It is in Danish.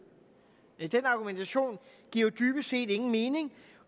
den argumentation giver jo dybest set ingen mening